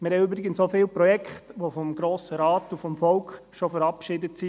Wir haben übrigens auch viele Projekte, die vom Grossen Rat und vom Volk schon verabschiedet sind;